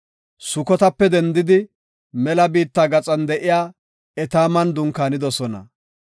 Sukotape dendidi mela biitta gaxan de7iya Etaaman dunkaanidosona.